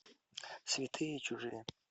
святые и чужие